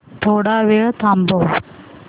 थोडा वेळ थांबव